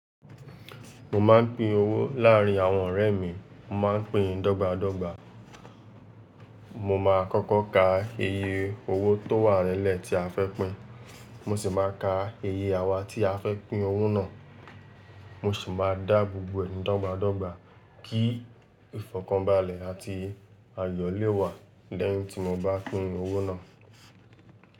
Mo máa ń pín owó láàárín àwọn ọ̀rẹ́ mi. Mo máa ń pín dọ́gba dọ́gba. Mo máa kọ́kọ́ ka iye owó tó wà nílẹ̀ tí a fẹ́ pín, mo sì máa ka iye awa tí a fẹ́ pín owó náà, mo sì máa dá gbogbo ẹnì dọ́gba dọ́gba kí ìfọ̀kànbalẹ̀ àti ayọ̀ lè wà lẹ́yìn tí mo bá pín owó náà.